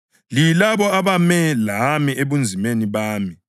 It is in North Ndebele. Liyilabo abame lami ebunzimeni bami.